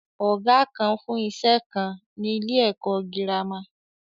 Ọ̀gá kan fún iṣẹ́ kan ni ni ilé ẹ̀kọ́ girama.